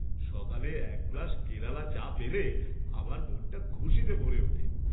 সকালে এক গ্লাস কেরালা চা পেলে আমার মনটা খুশিতে ভরে ওঠে।